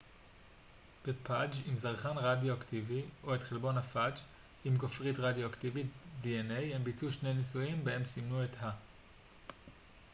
הם ביצעו שני ניסויים בהם סימנו את ה-dna בפאג' עם זרחן רדיואקטיבי או את חלבון הפאג' עם גופרית רדיואקטיבית